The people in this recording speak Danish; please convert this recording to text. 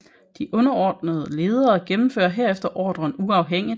De underordnede ledere gennemfører herefter ordren uafhængigt